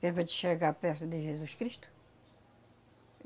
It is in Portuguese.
Que é para te chegar perto de Jesus Cristo?